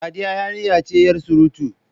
Sadiya yarinya ce yar surutu.